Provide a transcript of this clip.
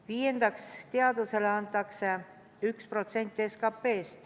Viiendaks, teadusele antakse 1% SKP-st.